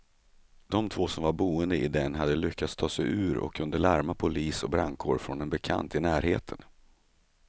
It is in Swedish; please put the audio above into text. De två som var boende i den hade lyckats ta sig ut och kunde larma polis och brandkår från en bekant i närheten.